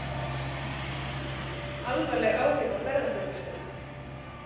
Alvarleg áhrif á ferðaþjónustuna